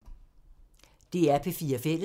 DR P4 Fælles